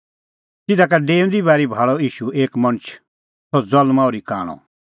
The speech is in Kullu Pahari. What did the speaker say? तिधा का डेऊंदी बारी भाल़अ ईशू एक मणछ सह ज़ल्मां ओर्ही कांणअ